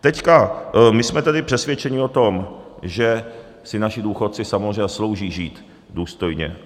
Teďka... my jsme tedy přesvědčeni o tom, že si naši důchodci samozřejmě zaslouží žít důstojně.